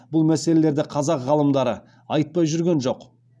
бұл мәселелерді қазақ ғалымдары айтпай жүрген жоқ